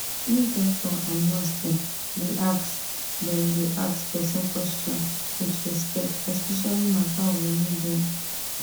make doctor and nurse dem da ask dem da ask person question with respect especially matter of religion